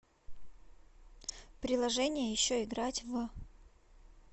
приложение еще играть в